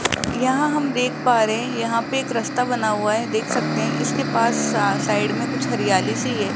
यहां हम देख पा रहे है यहां पे एक रास्ता बना हुआ है देख सकते है इसके पास साइड में कुछ हरियाली सी है।